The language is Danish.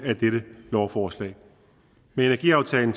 af dette lovforslag med energiaftalen